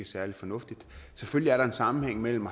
særlig fornuftigt selvfølgelig er der en sammenhæng mellem